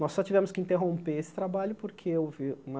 Nós só tivemos que interromper esse trabalho porque houve uma...